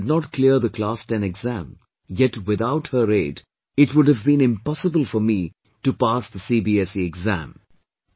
My mother did not clear the Class 10 exam, yet without her aid, it would have been impossible for me to pass the CBSE exam